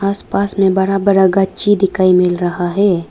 आसपास में बड़ा बड़ा ग़च्ची दिखाई मिल रहा है।